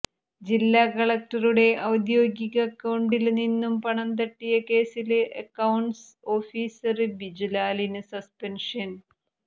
ജില്ലാ കളക്ടറുടെ ഔദ്യോഗിക അക്കൌണ്ടില് നിന്നും പണം തട്ടിയ കേസില് അക്കൌണ്ട്സ് ഓഫീസര് ബിജുലാലിന് സസ്പെന്ഷന്